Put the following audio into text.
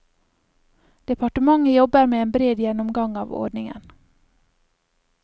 Departementet jobber med en bred gjennomgang av ordningen.